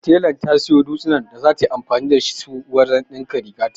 Telan ta siyo dutsinan da zata yi anfani da su wajen ɗinka rigata.